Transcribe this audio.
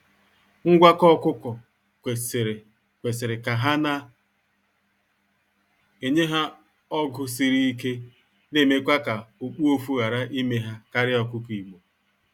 Ngwakọ ọkụkọ kwesịrị kwesịrị ka ha na enye ha ọgụ siri ike na emekwa ka okpuofu ghara ime ha karịa ọkụkọ igbo.